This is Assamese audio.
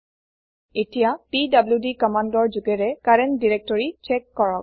এতিয়া পিডিডি কম্মান্দৰ যুগেৰে কাৰেন্ত দিৰেক্তৰি চ্যেক কৰক